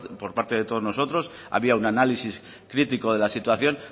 por parte de todos nosotros había un análisis crítico de la situación